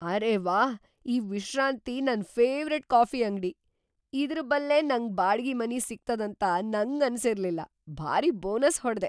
ಅರೆ ವ್ಹಾ, ಈ ವಿಶ್ರಾಂತಿ ನನ್‌ ಫೆವರೇಟ್‌ ಕಾಫಿ ಅಂಗ್ಡಿ, ಇದರಬಲ್ಲೇ ನಂಗ್ ಬಾಡ್ಗಿ ಮನಿ ಸಿಗ್ತದಂತ ನಂಗನಸಿರ್ಲಿಲ್ಲ. ಭಾರೀ ಬೋನಸ್ ಹೊಡದೆ!